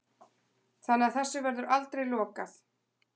Þannig að þessu verður aldrei lokað